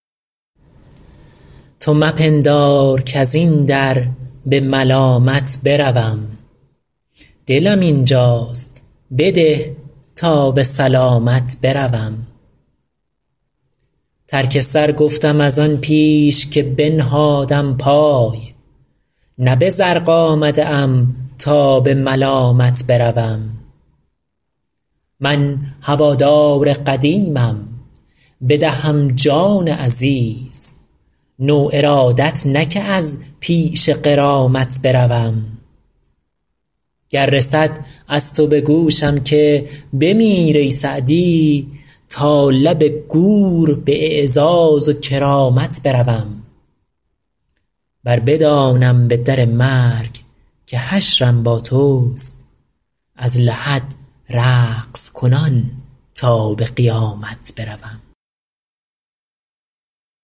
تو مپندار کز این در به ملامت بروم دلم اینجاست بده تا به سلامت بروم ترک سر گفتم از آن پیش که بنهادم پای نه به زرق آمده ام تا به ملامت بروم من هوادار قدیمم بدهم جان عزیز نو ارادت نه که از پیش غرامت بروم گر رسد از تو به گوشم که بمیر ای سعدی تا لب گور به اعزاز و کرامت بروم ور بدانم به در مرگ که حشرم با توست از لحد رقص کنان تا به قیامت بروم